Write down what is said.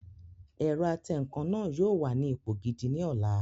Ẹ̀rọ atẹǹkan náà yóò wà ní ipò gidi ní ọ̀la